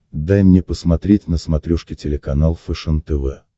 дай мне посмотреть на смотрешке телеканал фэшен тв